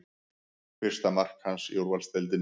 Fyrsta mark hans í úrvalsdeildinni